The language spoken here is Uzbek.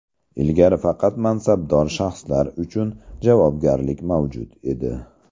Ilgari faqat mansabdor shaxslar uchun javobgarlik mavjud edi.